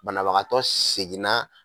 Banabagatɔ seginna.